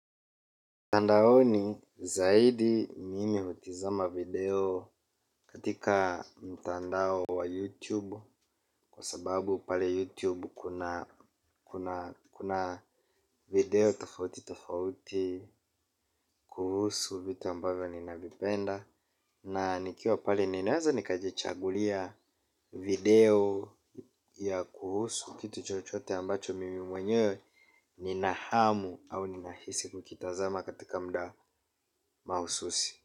Mtandaoni zaidi mimi hutizama video katika mtandao wa YouTube kwa sababu pale YouTube kuna video tofauti tofauti kuhusu vitu ambavyo ninavipenda na nikiwa pale ninaeza nikajichagulia video ya kuhusu kitu chochote ambacho mimi mwenyewe nina hamu au nina hisi kukitazama katika muda mahususi.